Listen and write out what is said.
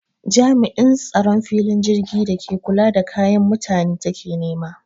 Jam'in tsaron filin jirgin da ke kula da kayan mutane take nema